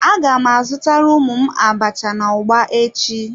A gam azutara ụmụ m abacha na ugba echi.